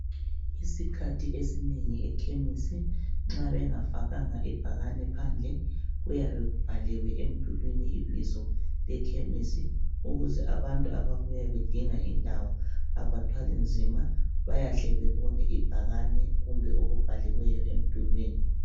Isikhathi esinengi ekhemisi nxa bengafakanga ibhakane phandle .Kuyabe kubhaliwe emdulwini ibizo lekhemisi ukuze abantu ababuya bedinga indawo abathwali nzima bayahle bebone ibhakane kumbe okubhaliweyo emdulwini.